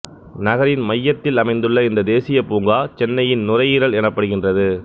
நகரின் மையத்தில் அமைந்துள்ள இந்த தேசியப் பூங்கா சென்னையின் நுரையீரல் எனப்படுகின்றது